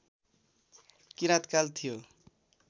किराँतकाल थियो